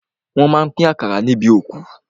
Wọ́n má a pín àkàrà níbi òkú.